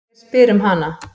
Hver spyr um hana?